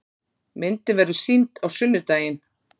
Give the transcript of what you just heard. Myndin verður sýnd á sunnudaginn.